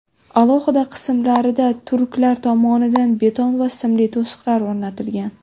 Alohida qismlarida turklar tomonidan beton va simli to‘siqlar o‘rnatilgan.